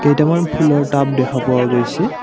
কেইটামান ফুলৰ টাব দেখা পোৱা গৈছে।